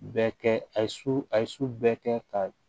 Bɛɛ kɛ a ye su a ye su bɛɛ kɛ ka